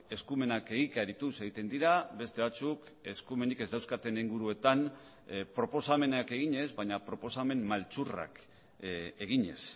eskumenak egikarituz egiten dira beste batzuk eskumenik ez dauzkaten inguruetan proposamenak eginez baina proposamen maltzurrak eginez